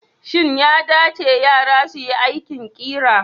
Shin ya dace yara su yi aikin ƙira?